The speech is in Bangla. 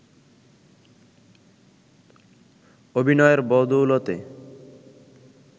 অভিনয়ের বদৌলতে